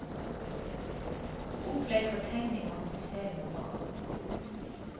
Opplegg for tegning og aktivisering av barn.